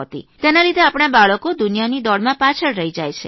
તેના લીધે આપણાં બાળકો દુનિયાની દોડમાં પાછળ રહી જાય છે